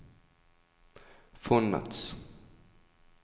fondets